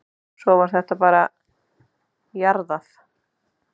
Svo var þetta bara jarðað.